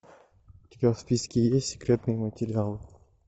у тебя в списке есть секретные материалы